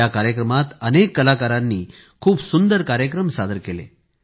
या कार्यक्रमात अनेक कलाकारांनी खूप सुंदर कार्यक्रम सादर केले